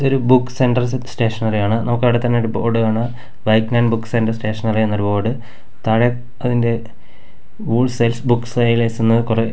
ഇതൊരു book centre set സ്റ്റേഷനറിയാണ് നമുക്ക് അവിടെ തന്നെ ഒരു ബോർഡ് കാണാം വൈറ്റ്നർ ബുക്ക് സെൻ്റർ സ്റ്റേഷനറി എന്നൊരു ബോർഡ് താഴെ അതിൻ്റെ വൂൾസ്--